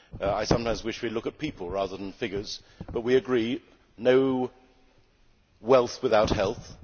I sometimes wish we would look at people rather than figures, but we agree no wealth without health'.